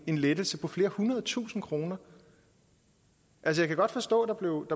en lettelse på flere hundredtusinde kroner jeg kan godt forstå der blev